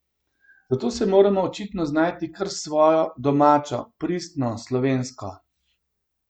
Zato se moramo očitno znajti kar s svojo, domačo, pristno slovensko.